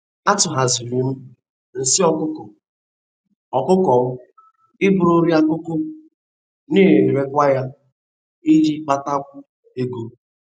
Atụgharịziri m nsị ọkụkọ ọkụkọ m ịbụrụ nri akụkụ na-erekwa ya iji na-akpatakwu ego.